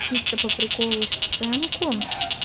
чисто по приколу сценку